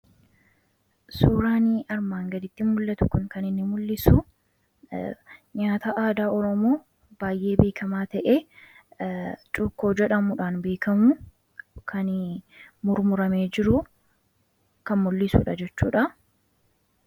Suuraan armaan gaditti mul'atu kun kan inni mul'isu nyaata aadaa Oromoo baay'ee beekama ta'e cuukkoo jedhamuudhaan kan beekamudha. Cuukkoon kunis kan murmuramee jiru mul'isudha jechuudha.